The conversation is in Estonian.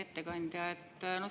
Hea ettekandja!